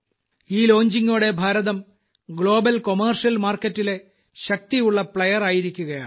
ഈ ലോഞ്ചിംഗോടെ Bharatam global commercial market ലെ ശക്തിയുള്ള പ്ലേയർ ആയിരിക്കുകയാണ്